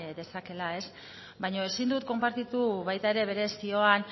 dezakeela baina ezin dut konpartitu baita ere bere zioan